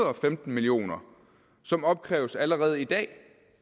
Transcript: og femten million kr som opkræves allerede i dag